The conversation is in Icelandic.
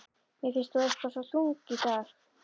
Mér finnst þú eitthvað svo þung í dag.